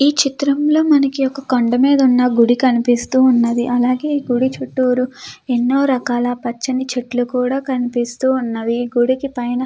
ఈ చిత్రంలో మనకి ఒక కొండా మీద ఉన్న గుడి కనిపిస్తూ ఉన్నది. అలాగే ఈ గుడి చుట్టూరు ఎన్నో రకాల పచ్చని చెట్లు కూడా కనిపిస్తూ ఉన్నవి. ఈ గుడికి పైన --